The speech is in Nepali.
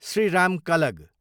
श्रीराम कलग